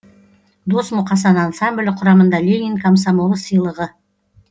дос мұқасан ансамблі құрамында ленин комсомолы сыйлығы